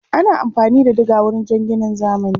Ana amfani da diga wajen ginin zamani.